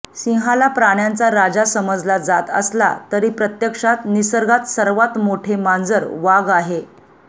सिंहाला प्राण्यांचा राजा समजला जात असला तरी प्रत्यक्षात निसर्गात सर्वात मोठे मांजर वाघ आहे